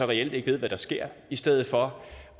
reelt ikke ved hvad der sker i stedet for